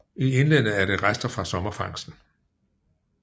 I indlandet er det rester fra sommerfangsten